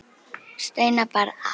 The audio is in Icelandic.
Steina bar að.